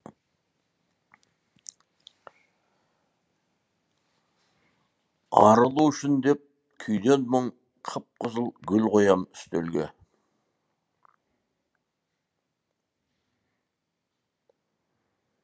арылу үшін деп күйден мұң қып қызыл гүл қоям үстелге